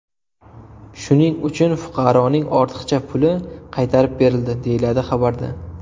Shuning uchun fuqaroning ortiqcha puli qaytarib berildi”, deyiladi xabarda.